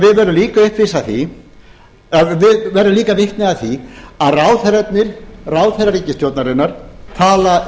við verðum líka vitni að því að ráðherrar ríkisstjórnarinnar tala